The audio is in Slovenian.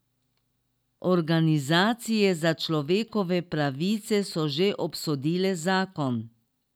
Organizacije za človekove pravice so že obsodile zakon.